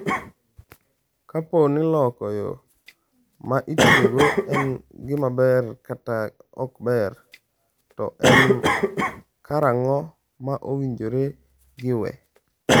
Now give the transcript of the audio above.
Kapo ni loko yo ma itiyogo en gima ber kata ok ber, to en karang’o ma owinjore giwe?